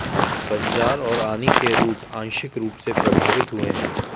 बंजार और आनी के रूट आंशिक रूप से प्रभावित हुए हैं